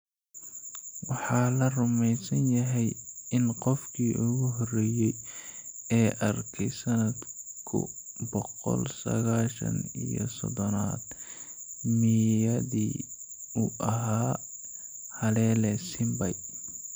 Waxaa la rumeysan yahay in qofkii ugu horreeyay ee arkay sanadku boqol sagashan iyo sodonaad meeyadii uu ahaa Halele Simbay.